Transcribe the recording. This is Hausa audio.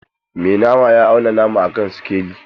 Mai nama ya auna nama a kan sikeli.